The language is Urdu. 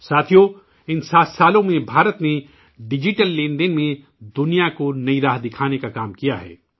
ساتھیوں، ان 7 سالوں میں ہندوستان نے ڈیجیٹل 'لین دین' میں دنیا کو نئی سمت کھانے کا کام کیا ہے